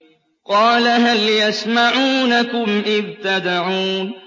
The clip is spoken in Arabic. قَالَ هَلْ يَسْمَعُونَكُمْ إِذْ تَدْعُونَ